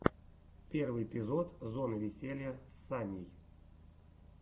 первый эпизод зоны веселья с саней